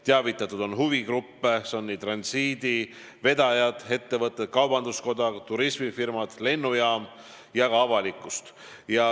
Teavitatud on huvigruppe: transiitvedajaid, muid ettevõtteid, kaubanduskoda, turismifirmasid, lennujaama ja kogu avalikkust.